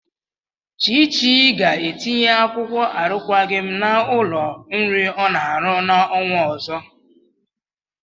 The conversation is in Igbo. Chichi ga-etinye akwụkwọ arụkwaghị m n'ụlọ nri ọ na-arụ n'ọnwa ọzọ.